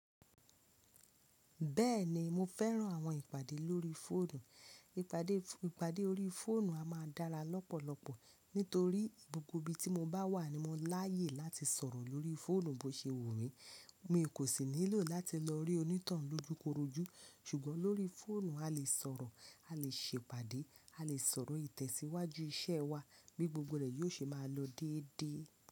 Bẹ́ẹ̀ni mo fẹ́ràn àwọn ìpàdé lórí fóònù. Ìpàdé, ìpàdé orí fóònù a máa dára lọ́pọ̀lọpọ̀ nítorí gbogbo ibi tí mo bá wà ni mo láàyè láti sọ̀rọ̀ lórí fóònù bó ṣe wù mí. Mi kò sì nílò láti lọ rí onítohun lójúkorojú sùgbọ́n lórí fóònù a lè sọ̀rọ̀, a lè ṣe ìpàdé, a lè sọ̀rọ̀ ìtẹ̀síwájú iṣẹ́ wa bí gbogbo rẹ̀ yóò ṣe máa lọ déédé.